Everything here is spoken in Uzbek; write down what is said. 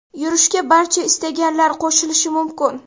Yurishga barcha istaganlar qo‘shilishi mumkin.